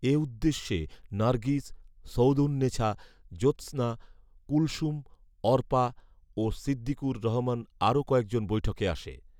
এ উদ্দেশ্যে নারগিস, সৌওদুন নেছা, জোসৎনা, কুলসুম, অর্পা, ও সিদ্দিকুর রহমানসহ আরো কয়েকজন বৈঠকে আসে